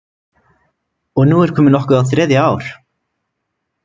Og nú er komið nokkuð á þriðja ár.